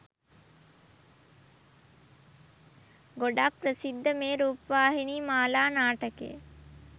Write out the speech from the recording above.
ගොඩක් ප්‍රසිද්ධ මේ රූපවාහිනී මාලා නාටකය.